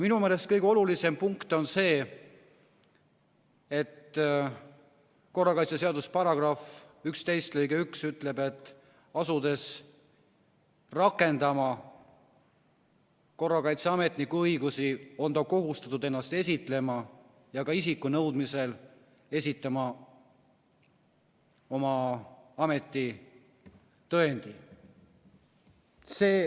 Minu meelest kõige olulisem punkt on see, et korrakaitseseaduse § 11 lõige 1 ütleb, et asudes rakendama korrakaitseametniku õigusi, on ametnik kohustatud ennast esitlema ja isiku nõudmisel esitama oma ametitõendi.